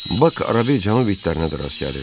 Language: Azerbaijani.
Bak arada canavarlara da rast gəlirdin.